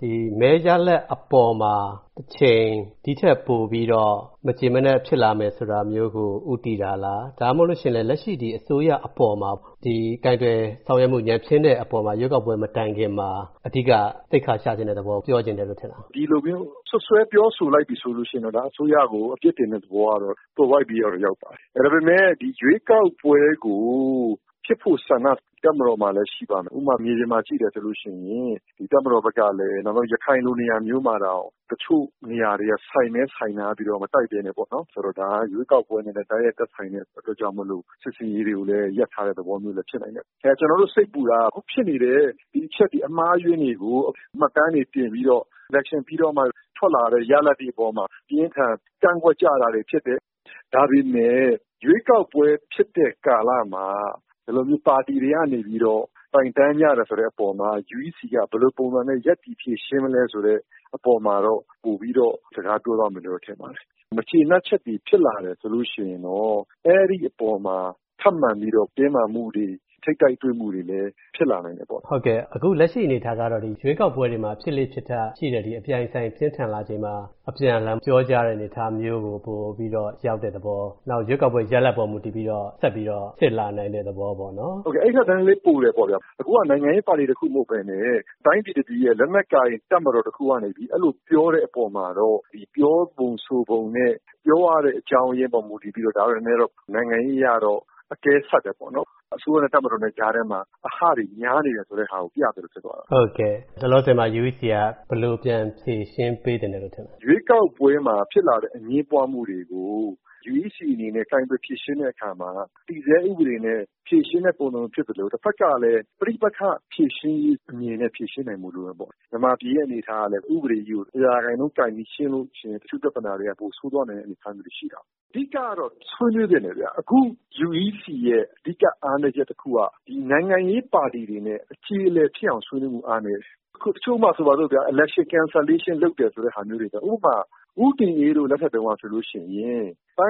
ဒီမဲရလဒ်အပေါ်မှာ တချိန် ဒီထက်ပိုပြီးတော့ မကျေမနပ်ဖြစ်လာမယ်ဆိုတာမျိုး ကို ဦးတည်တာလား ဒါမှမဟုတ်ရင်လည်း လက်ရှိ ဒီအစိုးရအပေါ်မှာ ကိုင်တွယ်ဆောင်ရွက်မှုတွေ ညံ့ဖျင်းတဲ့အပေါ်မှာ ရွေးကောက်ပွဲ မတိုင်ခင်မှာ အဓိက သိက္ခာချချင်တဲ့သဘောပြော ချင်တယ်လို့ ထင်လား။ ဒီလိုမျိုး စွပ်စွဲပြောဆိုလိုက်ပြီဆိုရင်တော့ အစိုးရကို အပြစ်တင်တဲ့သဘောကတော့ သွယ်ဝိုက်ပြီးတော့ ရောက်ပါတယ်။ ဒါပေမယ့် ရွေးကောက်ပွဲကို ဖြစ်ဖို့ဆန္ဒ တပ်မတော်မှာလည်း ရှိပါမယ်။ ဥပမာ မြေပြင်မှာ ကြည့်မယ်ဆိုရင် ဒီတပ်မတော်ဘက်ကလည်း ရခိုင်လိုနေရာမျိုးမှာ တချို့နေရာတွေက ဆိုင်ပဲ ဆိုင်ထားပြီးတော့ မတိုက်ပဲနဲ့ပေါ့နော် ၊ ဒါက ရွေးကောက်ပွဲနဲ့ သက်ဆိုင်တဲ့အတွက်ကြောင့် စစ်ဆင်ရေးတွေကို ရပ်ထားတဲ့ သဘောမျိုးလည်း ဖြစ်နိုင်တယ်။ ကျနော်တို့ စိတ်ပူတာက ဖြစ်နေတဲ့ ဒီအချက်တွေ အမှားအယွင်းတွေကို မှတ်တမ်းတွေ တင်ပြီးတော့ Election ပြီးတော့မှ ထွက်လာတဲ့ ရလဒ်တွေအပေါ်မှာ အပြင်းအထန် ကန့်ကွက်ကြတာတွေ ဖြစ်တယ်။ ဒါပေမယ့် ရွေးကောက်ပွဲ ဖြစ်တဲ့ကာလမှာ ဒီလို ပါတီတွေကနေပြီးတော့ တိုက်တန်းကြတယ်ဆိုတော့ UEC က ဘယ်လိုပုံစံနဲ့ ရပ်တည်ဖြေရှင်းမလဲဆိုတဲ့အပေါ်မှာတော့ ပိုပြီးတော့ စကားပြောသွားမယ်လို့ထင်ပါတယ်။ ဒီအပေါ် မကျေနပ်ချက်တွေ ဖြစ်လာတယ်ဆိုရင်တော့ အဲဒီအပေါ်မှာထပ်မံပြီးတော့ တင်းမာမှုှတွေ ထိပ်တိုက်တွေ့မှုတွေလည်း ဖြစ်လာနိုင်တယ်ပေါ့။ ဟုတ်ကဲ့ အခုလက်ရှိအနေအထားကတော့ ရွေးကောက်ပွဲတွေမှာ ဖြစ်လေ့ဖြစ်ထရှိတဲ့ ဒီလိုအပြိုင်အဆိုင် ပြင်းထန်လာချိန်မှာ အပြန်အလှန်ပြောကြတဲ့ အနေအထားမျိုးကို ပိုပြီးတော့ ရောက်တဲ့သဘော၊ နောက်ပြီးတော့ ရွေးကောက်ပွဲ ရလဒ်ကို မူတည်ပြီးတော့ ဆက်ပြီးတော့ ဖြစ်လာနိုင်တဲ့သဘောပေ့ါနော် ဟုတ်ကဲ့ အဲဒီထက် နည်းနည်းလေး ပိုတယ်ပေါ့နော်၊ အခုက နိုင်ငံရေးပါတီတခုမဟုတ်ပဲနဲ့ တိုင်းပြည်တပြည်ရဲ့ လက်နက်ကိုင် တပ်မတော်တခုကနေပြီး အဲလိုပြောတဲ့အပေါ်မှာတော့ ဒီလို ပြောပုံဆိုပုံနဲ့ ပြောရတဲ့ အကြောင်းအရင်း အပေါ်မှာ မူတည်ပြီးတော့ ဒါကတော့ နိုင်ငံရေးအရတော့အကဲဆက်တယ်ပေါ့နော် ။ အစိုးရနဲ့ တပ်မတော်ကြားထဲမှာ အဟတွေများနေတယ် ဆိုတာကို ပြသလိုဖြစ်သွားတာပေါ့နော်။ ဟုတ်ကဲ့ လောလောဆယ်မှာ၊ UEC က ဘယ်လိုပြန်ဖြေရှင်းပေးသင့်တယ်လို့ ထင်သလဲ။ ရွေးကောက်ပွဲမှာ ဖြစ်လာတဲ့ အငြင်းပွားမှုတွေကို UEC အနေနဲ့ ကိုင်တွယ်ဖြေရှင်းတဲ့အခါမှာ တည်ဆဲဥပဒေနဲ့ ကိုင်တွယ်ဖြေရှင်းတဲ့ပုံစံဖြစ်သလို တဖက်ကလည်း ပဋိပက္ခဖြေရှင်းရေးအမြင်နဲ့ ဖြေရှင်းနိုင်ဖို့လည်းလိုပါတယ်။ မြန်မာပြည်ရဲ့အနေအထားကလည်း ဥပဒေကြီးကို ၁၀၀ ရာခိုင်နှုန်း ကိုင်ပြီး ရှင်းရင် တချို့ပြဿနာတွေက ပိုဆိုးသွားနိုင်တဲ့အနေအထားရှိတာပေါ့။ အဓိကတော့ ဆွေးနွေးသင့်တယ်ဗျ၊ အခု UEC ရဲ့ အဓိက အားနည်းချက်တခုကတော့ ဒီနိုင်ငံရေးပါတီတွေနဲ့ အကျေအလည်ဖြစ်အောင် ဆွေးနွေးဖို့ အားနည်းတယ်။ ဥပမာ- တချို့နေရာတွေမှာ Election cancelation လုပ်တဲ့ဟာမျိုးတွေ ၊ ဥပမာ ဦးတင်အေးတို့ လက်ထက်တုန်းက ဆိုရင်တိုင်းရ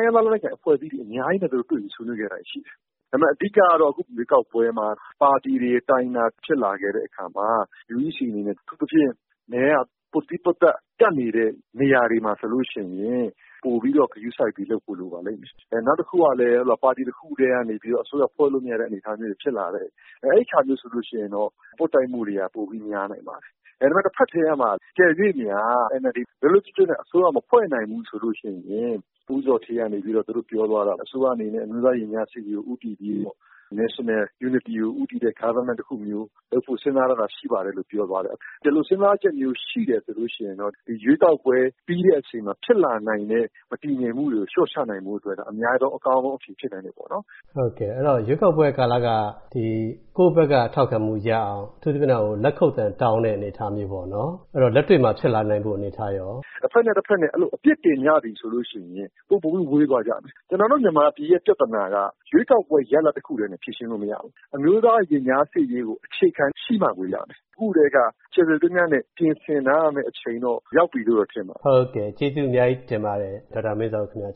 င်းသား လက်နက်ကိုင် အဖဲ့ွအစည်းတွေ အများကြီးနဲ့ သူတို့ တွေ့ပြီးဆွေးနွေးခဲ့တာ ရှိတယ်။ ဒါပေမယ့် အဓိကတော့ အခုရွေးကောက်ပွဲမှာ ပါတီတွေ တိုင်တာတွေ ဖြစ်လာခဲ့တဲ့အခါမှာ UEC အနေနဲ့ အထူးသဖြင့် မဲက ပွတ်သီးပွတ်သတ် ကပ်နေတဲ့နေရာတွေမှာဆိုရင် ပိုပြီးတော့ ဂရုစိုက်ပြီးလုပ်ဖို့လိုပါလိမ့်မယ်။ နောက်တခုကလည်း ပါတီတခုတည်းကနေပြီးတော့ အစိုးရ ဖွဲ့လို့မရတဲ့အနေအထားတွေ ဖြစ်လာတဲ့အခါမျိုးဆိုရင်တော့ ပွတ်တိုက်မူတွေ ပိုပြီးတော့ များပါလိမ့်မယ်။ ဒါပေမယ့် တဖက်တည်းမှာ အကယ်၍များ NLD လွတ်လွတ်ကျွတ်ကျွတ်နဲ့ အစိုးရ မဖွဲ့နိုင်ဘူးဆိုရင် ဦးဇော်ဌေးကတော့ ပြောသွားတာပဲ အစိုးရအနေနဲ့ အမျိုးသားရင်ကြားစေ့ရေးကို ဦးတည်ပြီးတော့ National Unity ကို ဦးတည်တဲ့ Government တခုမျိုး လုပ်ဖို့ စဉ်းစားထားတာ ရှိပါတယ်လို့ ပြောသွားတယ်။ အဲလို စဉ်းစားချက်မျိုး ရှိတယ်ဆိုရင်တော့ ဒီရွေးကောက်ပွဲ ပြီးတဲ့အချိန်မှာ ဖြစ်လာနိုင်တဲ့ မတည်ငြိမ်မှုတွေကို လျော့ချနိုင်ဖို့အတွက် အများဆုံးအကောင်းဆုံး အဖြေ ဖြစ်လာနိုင်တယ်ပေါ့နော်။ ဟုတ်ကဲ့ ရွေးကောက်ပွဲ ကာလက ကိုယ်ဘက်က ထောက်ခံမှု ရအောင် အထူးသဖြင့်တော့လက်ခုပ်သံ တောင်းတဲ့အနေအထားမျိုးပေါ့နော်။ လက်တွေ့မှာ ခုလိုဖြစ်လာနိုင်ဖို့အနေအထားရော တဘက်နဲ့ တဘက် အပြစ်တင်ကြပြီဆိုရင် ပိုပိုပြီး ဝေးသွားကြမယ်။ ကျနော်တို့ မြန်မာပြည်ရဲ့ ပြဿနာက ရွေးကောက်ပွဲ ရလဒ်တခုတည်းနဲ့ ဖြေရှင်းလို့ မရဘူး ။ အမျိုးသားရင်ကြားစေ့ရေးကို အခြေခံရှိမှကိုရမယ် ။ အခုကတည်းက ကျယ်ကျယ်ပြန့်ပြန့်နဲ့ ပြင်ဆင်ထားရမယ့် အချိန်တော့ ရောက်ပြီလို့ တော့ ထင်ပါတယ်။ ဟုတ်ကဲ့ ကျေးဇူး အများကြီးတင်ပါတယ် ဒေါက်တာမင်းဇော်ဦး ခင်ဗျ။